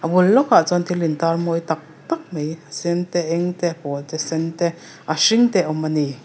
a bul lawk ah chuan thil in tar mawi taktak mai a sen a eng te a pawl te sen te a hring te a awm ani.